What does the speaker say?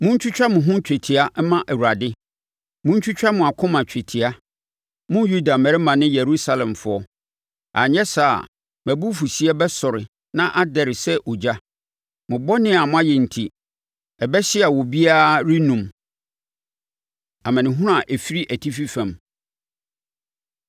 Montwitwa mo ho twetia mma Awurade montwitwa mo akoma twetia, mo Yuda mmarima ne Yerusalemfoɔ, anyɛ saa a mʼabufuhyeɛ bɛsɔre na adɛre sɛ ogya. Mo bɔne a moayɛ enti, ɛbɛhye a obiara rennum.” Amanehunu A Ɛfiri Atifi Fam